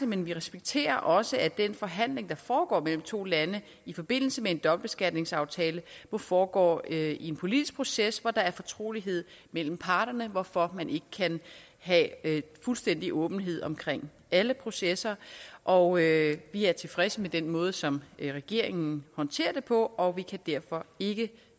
men vi respekterer også at den forhandling der foregår mellem to lande i forbindelse med en dobbeltbeskatningsaftale må foregå i en politisk proces hvor der er fortrolighed mellem parterne hvorfor man ikke kan have fuldstændig åbenhed omkring alle processer og vi er tilfredse med den måde som regeringen håndterer det på og vi kan derfor ikke